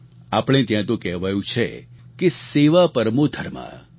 આપણે ત્યાં તો કહેવાયું છે કે સેવા પરમો ધર્મઃ